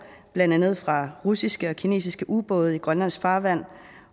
blandt andet fra russiske og kinesiske ubåde i grønlands farvand